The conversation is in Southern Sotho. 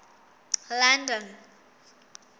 london